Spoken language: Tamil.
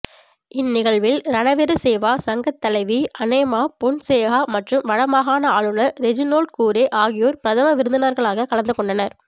இந்நிகழ்வில் ரனவிரு சேவா சங்க தலைவி அனேமா பொன்சேகா மற்றும் வடமாகாண ஆளுனர் ரெஜினோல்ட்கூரே ஆகியோர் பிரதம விருந்தினர்களாக கலந்துகொண்டனர்